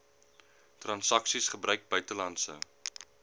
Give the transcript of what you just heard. transaksies gebruik buitelandse